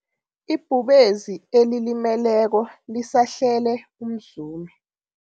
Ibhubezi elilimeleko lisahlele umzumi.